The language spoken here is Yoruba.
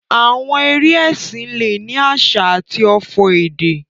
Àwọn eré ẹsìn le ni àsà àti ọfò èdè.